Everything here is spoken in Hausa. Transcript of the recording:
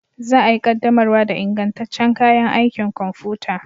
Za a yi ƙaddamar da ingantaccen kayan aikin kwamfuta